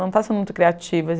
Não está sendo muito criativa.